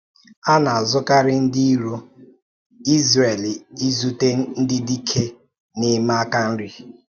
A na-azụkarị ndị ìrò Izrel izute ndị dike na-eme aka nri.